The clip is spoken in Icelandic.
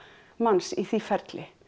manns í því ferli